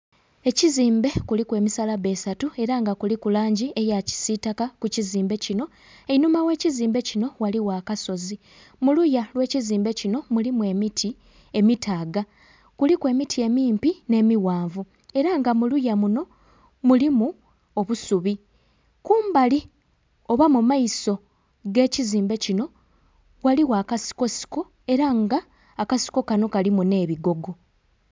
Ekizimbe kuliku emisalabba esatu era nga kuliku langi ya kisitaka ku kizimbe kino, einhuma gh'ekizimbe kino ghaligho akasozi, mu luya lw'ekizimbe kino mulimu emiti emitaaga kuliku emiti emimpi n'emighanvu era nga mu luya muno mulimu obusubi. Kumbali oba mu maiso g'ekizimbe kino, ghaligho akasikosiko era nga akasiko kano kalimu n'ebigogo.